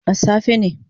A safe ne